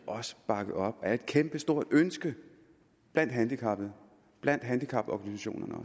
bakket op af et kæmpestort ønske blandt handicappede og blandt handicaporganisationerne